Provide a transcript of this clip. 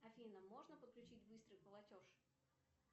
афина можно подключить быстрый платеж